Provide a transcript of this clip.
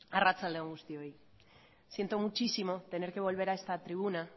arratsalde on guztioi siento muchísimo tener que volver a esta tribuna